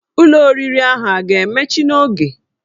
Ụlọ oriri ahụ a ga-emechi n'oge?